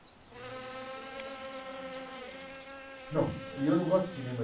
E o senhor frequenta muito cinema hoje em dia? Bom, eu não gosto de cinema